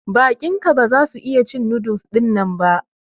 Baƙin ka ba za su iya cin noodles dinnan ba.